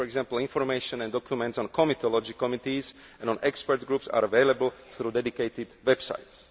For example, information and documents on comitology committees and on expert groups are available through dedicated websites.